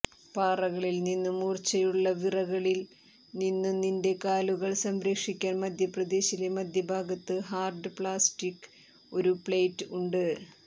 പാറകളിൽ നിന്നും മൂർച്ചയുള്ള വിറകളിൽ നിന്നും നിന്റെ കാലുകൾ സംരക്ഷിക്കാൻ മധ്യപ്രദേശിലെ മധ്യഭാഗത്ത് ഹാർഡ് പ്ലാസ്റ്റിക് ഒരു പ്ലേറ്റ് ഉണ്ട്